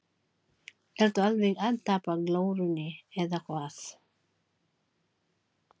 Ertu alveg að tapa glórunni eða hvað!